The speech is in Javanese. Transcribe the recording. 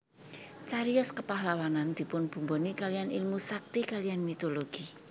Cariyos kepahlawanan dipunbumboni kaliyan ilmu sakti kaliyan mitologi